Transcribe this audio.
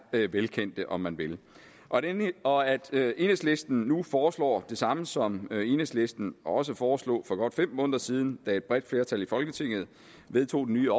velkendte om man vil og og at enhedslisten nu foreslår det samme som enhedslisten også foreslog for godt fem måneder siden da et bredt flertal i folketinget vedtog den nye